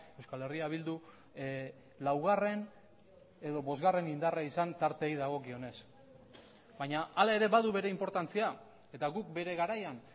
euskal herria bildu laugarren edo bosgarren indarra izan tarteei dagokionez baina hala ere badu bere inportantzia eta guk bere garaian